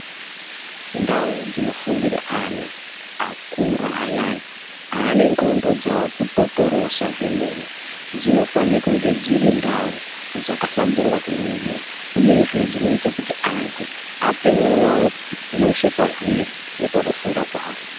Ndau dzinofundira ana akura ayani ane ndxondo dzakutotorosa kwemene dzinofana kunge dziri ndau dzakahlamburika kuningira uyezve zvinoita kuti vantu ape mwoyo wavo weshe pazviri nepakufunda pawo.